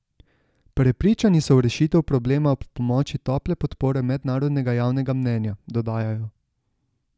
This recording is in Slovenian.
Prepričani so v rešitev problema ob pomoči tople podpore mednarodnega javnega mnenja, dodajajo.